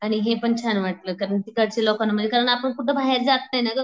आणि हे पण छान वाटलं कारण कारण आपण कुठं बाहेर जात नाही ना ग